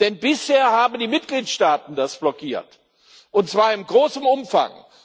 Denn bisher haben die Mitgliedstaaten das blockiert, und zwar im großen Umfang.